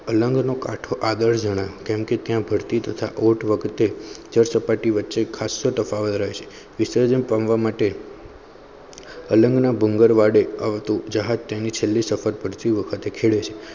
અલંગ્વારમાં કાઢું આ દસ જણા કારણકેભરતી થતા ઓટ વખતે બે સાપતી વચે ખાસો ટકરાવ રહે છે વિસર્જન કેન્દ્ર માટે અલંગ ડુંગેર વડે આવતું જહાજતેનું કહેલું સપથ ખેડે છે